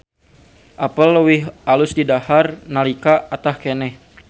Apel leuwih alus didahar nalika atah keneh.